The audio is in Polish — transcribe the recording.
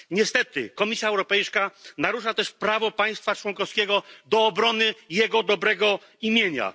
Niestety Komisja Europejska narusza też prawo państwa członkowskiego do obrony jego dobrego imienia.